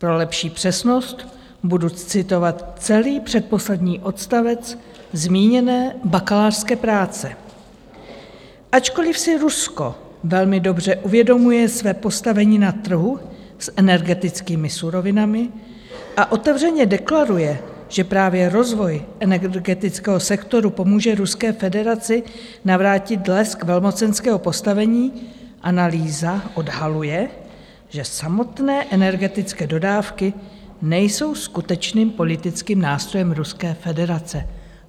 Pro lepší přesnost budu citovat celý předposlední odstavec zmíněné bakalářské práce: "Ačkoliv si Rusko velmi dobře uvědomuje své postavení na trhu s energetickými surovinami a otevřeně deklaruje, že právě rozvoj energetického sektoru pomůže Ruské federaci navrátit lesk velmocenského postavení, analýza odhaluje, že samotné energetické dodávky nejsou skutečným politickým nástrojem Ruské federace."